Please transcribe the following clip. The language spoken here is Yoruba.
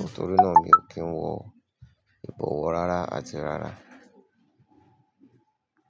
nítorí náà mi ò kí ń wọ ìbọwọ́ rárá àti rárá.